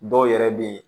Dɔw yɛrɛ bɛ yen